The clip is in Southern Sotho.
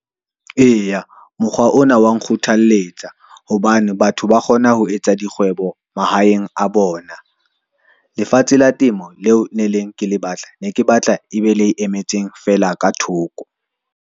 Eya, mokgwa ona wa nkgothalletsa hobane batho ba kgona ho etsa dikgwebo mahaeng a bona. Lefatshe la temo leo le neng ke le batla, ne ke batla e be lei emetseng fela ka thoko.